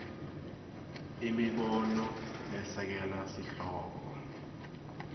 imibono lesekela sihloko